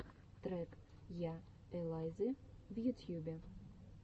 трек я элайзы в ютьюбе